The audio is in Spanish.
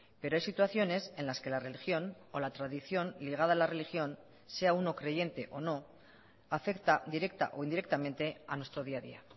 pero hay situaciones en las que la religión o la tradición ligada a la religión sea uno creyente o no afecta directa o indirectamente a nuestro día a día